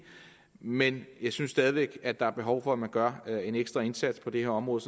men jeg synes stadig væk at der er behov for at man gør en ekstra indsats på det her område